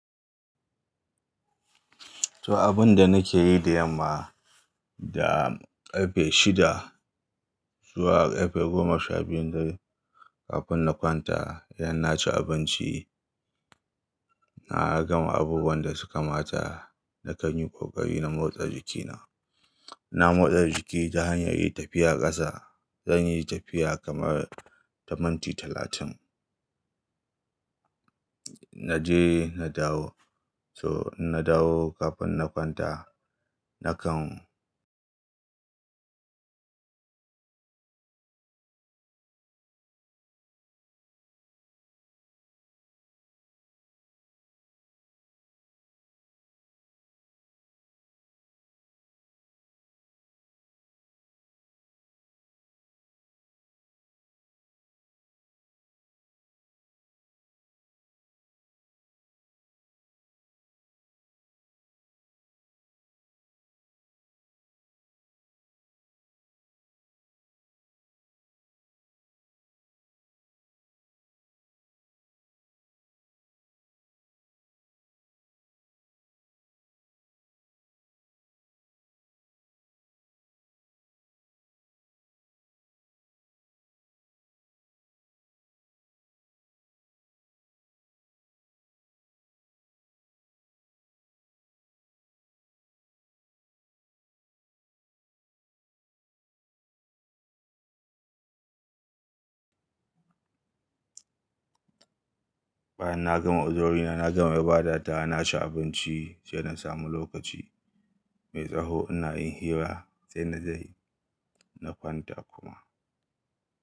To abun da nake yi da yamma, da ƙarfe shida zuwa ƙarfe goma sha biyun da kafin na kwanta, idan na ci abinci, na gama abubuwan da suka mata, na kan yi ƙoƙari na motsa jikina. Na motsa jiki ta hanyar yin tafiya ƙasa. Zan yi tafiya kamar na minti talatin. Na je, na dawo. So inna dawo kafin na kwanta. Na kan bayan na gama uzurina, na gama ibadata, na ci abinci, sai na samu lokaci mai tsaho ina yin hira, sai na je na kwanta kuma.